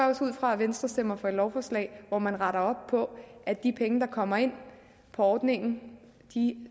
også ud fra at venstre stemmer for et lovforslag hvor man retter op på at de penge der kommer ind på ordningen